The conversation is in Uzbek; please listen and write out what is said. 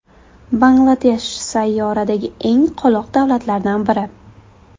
Bangladesh sayyoradagi eng qoloq davlatlardan biri.